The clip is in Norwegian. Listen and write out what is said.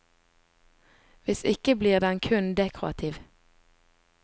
Hvis ikke blir den kun dekorativ.